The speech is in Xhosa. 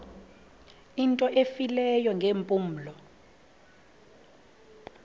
into efileyo ngeempumlo